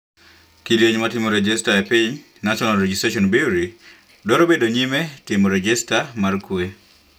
Kidieny' matimo rejesta epiny (National Regisstration Bureau) dwaro bedo nyime ne timo rejesta mar kwee.